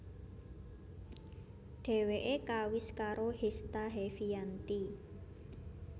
Dheweke kawis karo Hesta Heviyanti